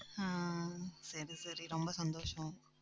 ஆஹ் சரி, சரி ரொம்ப சந்தோஷம்